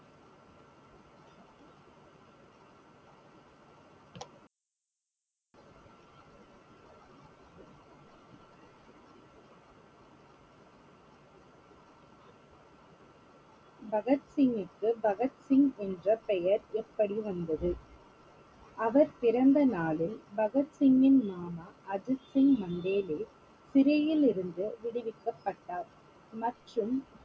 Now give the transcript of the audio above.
பகத் சிங்கிற்கு பகத் சிங் என்ற பெயர் எப்படி வந்தது? அவர் பிறந்த நாளில் பகத் சிங்கின் மாமா அஜித் சிங் மண்டேலே சிறையிலிருந்து விடுவிக்கப்பட்டார் மற்றும்